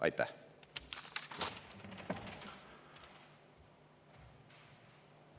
Aitäh!